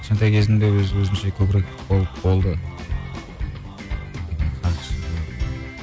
кішкентай кезімде өз өзінше көбірек болды